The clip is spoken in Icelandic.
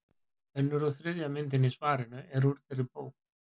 Önnur og þriðja myndin í svarinu eru úr þeirri bók.